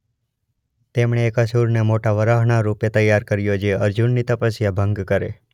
તેમણે એક અસુરને મોટા વરાહના રૂપે તૈયાર કર્યો જે અર્જુનની તપસ્યા ભંગ કરે.